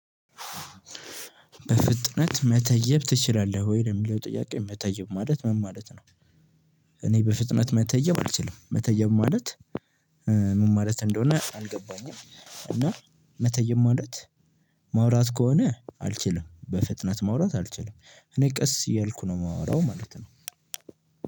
በፍጥነት መተየብ ትችላለህ ወይ የሚለው ጥያቄ መተየብ ማለት ምን ማለት ነው? እኔ በፍጥነት መተየብ አልችልም መተየብ ማለት። ምን ማለት እንደሆነ አልገባኝም። እና መተየም ማለት ማውራት ከሆነ አልችልም። በፍጥነት ማውራት አልችልም እኔ ቀስ እያልኩ ነው የማወራው ማለት ነው።